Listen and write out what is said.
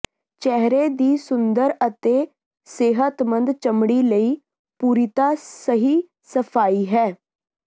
ਚਿਹਰੇ ਦੀ ਸੁੰਦਰ ਅਤੇ ਸਿਹਤਮੰਦ ਚਮੜੀ ਲਈ ਪੂਰਿਤਾ ਸਹੀ ਸਫਾਈ ਹੈ